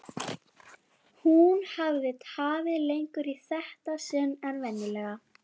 Hún hafði tafið lengur í þetta sinn en venjulega.